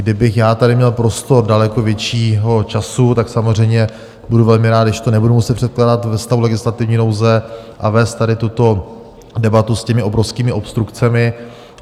Kdybych já tady měl prostor daleko většího času, tak samozřejmě budu velmi rád, když to nebudu muset předkládat ve stavu legislativní nouze a vést tady tuto debatu s těmi obrovskými obstrukcemi.